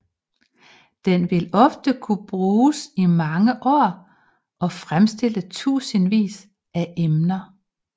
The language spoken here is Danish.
Den vil ofte kunne bruges i mange år og fremstille tusindvis af emner